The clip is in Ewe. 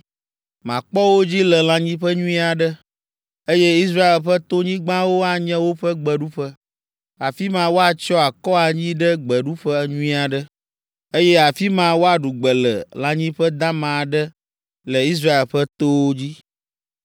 Makpɔ wo dzi le lãnyiƒe nyui aɖe, eye Israel ƒe tonyigbawo anye woƒe gbeɖuƒe. Afi ma woatsyɔ akɔ anyi ɖe gbeɖuƒe nyui aɖe, eye afi ma woaɖu gbe le lãnyiƒe dama aɖe le Israel ƒe towo dzi.